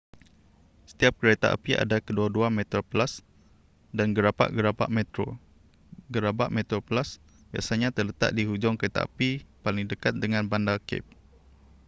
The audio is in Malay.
setiap kereta api ada kedua-dua metroplus dan gerabak-gerabak metro gerabak metroplus biasanya terletak di hujung keretapi paling dekat dengan bandar cape